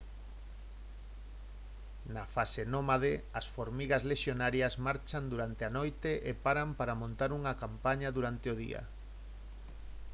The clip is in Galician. na fase nómade as formigas lexionarias marchan durante a noite e paran para montar campaña durante o día